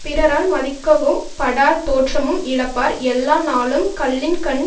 பிறரால் மதிக்கவும் படார் தோற்றமும் இழப்பார் எல்லா நாளும் கள்ளின்கண்